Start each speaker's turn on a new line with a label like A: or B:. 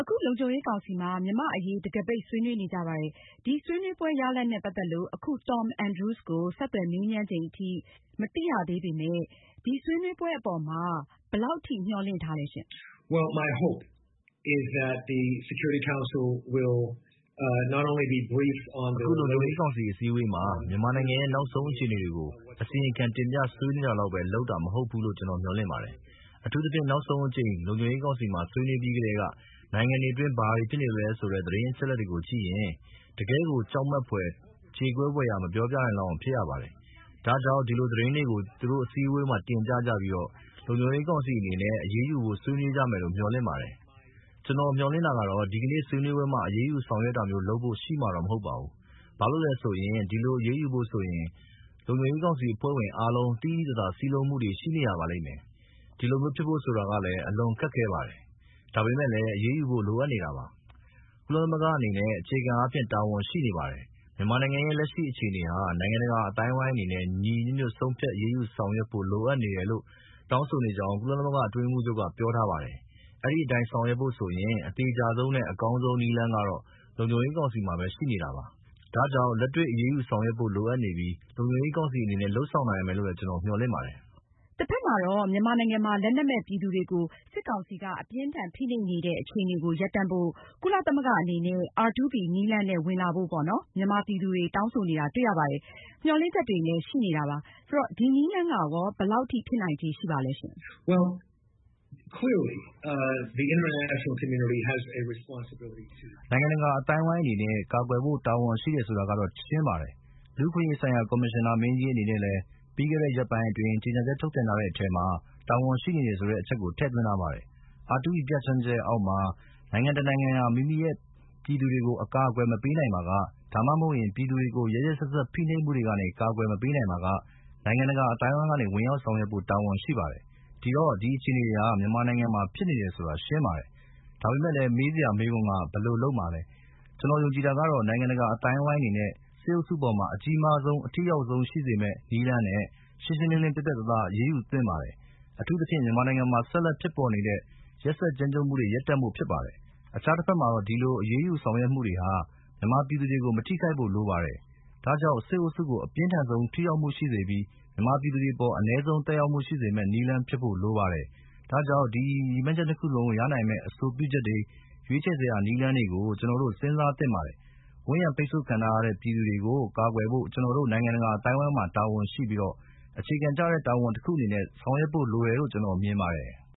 A: အခု လုံခြုံရေးကောင်စီမှာ မြန်မာ့အရေး တံခါးပိတ်ဆွေးနွေးနေကြပါတယ်။ ဒီဆွေးနွေးပွဲရလာဒ်နဲ့ ပတ်သက်လို့ အခု Tom Andrews ကိုဆက်သွယ်မေးမြန်းချိန်အထိ မသိရသေးပေမယ့် ဒီဆွေးနွေးပွဲအပေါ်မှာ ဘယ်လောက်ထိမျှော်လင့်ထားသလဲရှင့်။
B: အခု လုံခြုံရေးကောင်စီအစည်းအဝေးမှာ မြန်မာနိုင်ငံရဲ့ နောက်ဆုံးအခြေအနေတွေကို အစီရင်ခံတင်ပြဆွေးနွေးတာလောက်ပဲ လုပ်တာမဟုတ်ဘူးလို့ ကျနော်မျှော်လင့်ပါတယ်။ အထူးသဖြင့် နောက်ဆုံးအကြိမ် လုံခြုံရေးကောင်စီမှာ ဆွေးနွေးပြီးကတည်းကနိုင်ငံတွင်းဘာတွေဖြစ်နေလဲဆိုတဲ့ သတင်း အချက်အလက်တွေကိုကြည့်ရင် တကယ့်ကို ကြောက်မက်ဖွယ်၊ကြေကွဲဖွယ်ရာ ပြောမပြနိုင်လောက်အောင်းကိုဖြစ်ရပါတယ်။ ဒါကြောင့် ဒီသီတင်းတွေကို သူတို့အစည်းအဝေးမှာ တင်ပြပြီး လုံခြုံရေးကောင်စီအနေနဲ့ အရေးယူဖို့ ဆွေးနွေးကြမယ်လို့ မျှော်လင့်ပါတယ်။ ကျနော့်မျှော်လင့်တာကတော့ ဒီကနေ့ ဆွေးနွေးပွဲမှာတော့ အရေးယူဆောင်ရွက်တာမျိုး လုပ်ဖို့ရှိမှာတော့ မဟုတ်ပါဘူး။ ဘာလို့လဲဆိုရင် အဲဒီလို အရေးယူဖို့ဆိုရင် လုံခြုံရေးကောင်စီအဖွဲ့ဝင် အားလုံး သိသိသာသာ စည်းလုံးမှုတွေရှိရပါလိမ့်မယ်။ အဲဒီလိုမျိုးဖြစ်ဖို့ဆိုတာကလည်း အလွန်ခက်ခဲပါတယ်။ ဒါပေမဲ့လည်း အရေးယူဖို့ လိုအပ်နေတာပါ။ ကုလသမဂ္ဂအနေနဲ့ အခြေခံအားဖြင့် တာဝန်ရှိနေပါတယ်။ မြန်မာနိုင်ငံရဲ့ လက်ရှိအခြေအနေဟာ နိုင်ငံတကာအသိုင်းအဝိုင်းအနေနဲ့ ညီညီညွတ်ညွတ်နဲ့ ဆုံးဖြတ် အရေးယူဆောင်ရွက်ဖို့လိုအပ်နေတယ်လို့ တောင်းဆိုနေကြောင်း ကုလအတွင်းရေးမှူးချုပ်က ပြောထားပါတယ်။အဲဒီအတိုင်း ဆောင်ရွက်ဖို့ ဆိုရင် အသေချာဆုံးနဲ့ အကောင်းဆုံးနည်းလမ်းကတော့ လုံခြုံရေးကောင်စီမှာပဲရှိနေတာပါ။ ဒါကြောင့် လက်တွေ့အရေးယူဆောင်ရွက်ဖို့ လိုအပ်နေပြီး လုံခြုံရေးကောင်စီအနေနဲ့လုပ်ဆောင်လိမ့်မယ်လို့ ကျနော်မျှော်လင့်ပါတယ်။
A: တဖက်မှာတော့ မြန်မာနိုင်ငံမှာ လက်နက်မဲ့ပြည်သူတွေကို စစ်ကောင်စီက အပြင်းအထန်ဖိနှိပ်နေတဲ့အခြေအနေကို ရပ်တန့်ဖို့ ကုလသမဂ္ဂအနေနဲ့ R2P နည်းလမ်းနဲ့ ဝင်လာဖို့ မြန်မာပြည်သူတွေ တောင်းဆိုနေတာတွေ့ရပါတယ်။ မျှော်လင့်ချက်တွေလည်းရှိနေတယ်။ ဒီနည်းလမ်းက ဘယ်လောက်ဖြစ်နိုင်ခြေရှိပါသလဲ။
B: နိုင်ငံတကာအသိုင်းအဝိုင်းအနေနဲ့ ကာကွယ်ဖို့ တာဝန်ရှိတယ်ဆိုတာကတော့ ရှင်းပါတယ်။ လူ့အခွင့်အရေးဆိုင်ရာ ကော်မရှင်နာမင်းကြီးအနေနဲ့လည်း ပြီးခဲ့တဲ့ ရက်ပိုင်းအတွင်း ကြေညာချက်ထုတ်ပြန်ထားတဲ့အထဲမှာ တာဝန်ရှိနေတယ်ဆိုတဲ့အချက်ကို ထည့်သွင်းထားပါတယ်။ R2P ပြဌာန်းချက်ရဲ့အောက်မှာ နိုင်ငံတနိုင်ငံဟာ မိမိရဲ့ ပြည်သူတွေကို အကာအကွယ်မပေးနိုင်ပါက၊ ဒါမှမဟုတ် ပြည်သူတွေကို ရက်ရက်စက်စက် ဖိနှိပ်မှုတွေကနေ ကာကွယ်မပေးနိုင်ပါက နိုင်ငံတကာအသိုင်းအဝိုင်းအနေနဲ့ဝင်ရောက် ဆောင်ရွက်ဖို့ တာဝန်ရှိပါတယ်။ ဒီတော့ ဒီအခြေအနေတွေဟာ မြန်မာနိုင်ငံမှာ ဖြစ်နေတယ်ဆိုတာ ရှင်းပါတယ်။ ဒါပေမဲ့ မေးစရာမေးခွန်းက ဘယ်လိုလုပ်မှာလဲ။ ကျနော်ယုံကြည်တာကတော့ နိုင်ငံတကာအသိုင်းအဝိုင်းအနေနဲ့ စစ်အုပ်စုအပေါ်မှာ အကြီးမားဆုံး အထိရောက်ဆုံးရှိစေမယ့် နည်းလမ်းနဲ့ရှင်းရှင်းလင်းလင်းပြတ်ပြတ်သာသား အရေးယူဆောင်ရွက်သင့်ပါတယ်။ အထူးသဖြင့် မြန်မာနိုင်ငံမှာ ဆက်လက်ဖြစ်ပေါ်နေတဲ့ ရက်စက်ကြမ်းကြုတ်မှုတွေရပ်တန့်ဖို့ဖြစ်ပါတယ်။ အခြားတဖက်မှာတော့ ဒီလိုအရေးယူဆောင်ရွက်မှုတွေဟာ မြန်မာပြည်သူတွေကို မထိခိုက်ဖို့လိုပါတယ်။ ဒါကြောင့် စစ်အုပ်စုကို အပြင်းထန်ဆုံးထိရောက်မှုရှိစေပြီး မြန်မာပြည်သူတွေအပေါ် အနည်းဆုံးသက်ရောက်မှုရှိစေတဲ့ နည်းလမ်းဖြစ်ဖို့လိုပါတယ်။ ဒါကြောင့် ဒီရည်မှန်းချက်နှစ်ခုလုံးကိုရနိုင်မယ့် အဆိုပြုချက်တွေ၊ ရွေးချယ်စရာနည်းလမ်းတွေကို ကျနော်တို့ စဉ်းစားသင့်ပါတယ်။ ဝိုင်းရံပိတ်ဆို့ခံထားရတဲ့ ပြည်သူတွေကို ကာကွယ်ဖို့ ကျနော်တို့ နိုင်ငံတကာအသိုင်းအဝိုင်းမှာ တာဝန်ရှိပြီး အခြေခံကျတဲ့ တာဝန်တခုအနေနဲ့ ဆောင်ရွက်ဖို့လိုတယ်လို့ ကျနော်မြင်ပါတယ်။